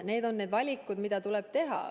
Need on need valikud, mida tuleb teha.